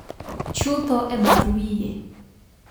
chutho e bath wiye